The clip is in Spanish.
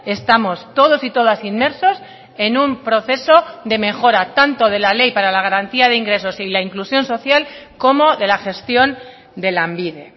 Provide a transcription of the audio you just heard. estamos todos y todas inmersos en un proceso de mejora tanto de la ley para la garantía de ingresos y la inclusión social como de la gestión de lanbide